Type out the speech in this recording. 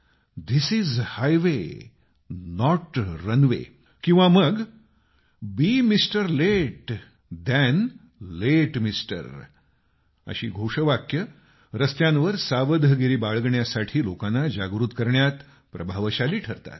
this is high way not runway किंवा मग be mister late than late mister अशी घोषवाक्य रस्त्यांवर सावधगिरी बाळगण्यासाठी लोकांना जागृत करण्यात प्रभावशाली ठरतात